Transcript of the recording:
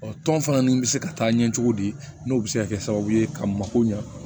Ɔ tɔn fana ninnu bɛ se ka taa ɲɛ cogo di n'o bɛ se ka kɛ sababu ye ka mako ɲa